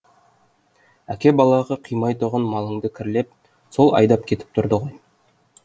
әке балаға қимай тұғын малыңды кірлеп сол айдап кетіп тұрды ғой